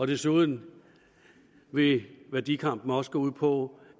desuden vil værdikampen også gå ud på